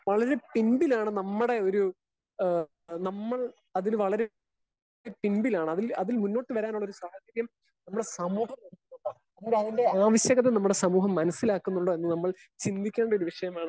Speaker 1 വളരെ പിൻപിലാണ് നമ്മുടെ ഒരു ഏഹ് നമ്മൾ അതിൽ വളരെ പിൻപിലാണ്. അതിൽ മുന്നോട്ട് വരാനുള്ള ഒരു സാഹചര്യം നമ്മുടെ സമൂഹം അതിന്റെ ആവശ്യകത നമ്മുടെ സമൂഹം മനസ്സിലാക്കുന്നുണ്ടോ എന്ന് നമ്മൾ ചിന്തിക്കേണ്ട ഒരു വിഷയമാണ്.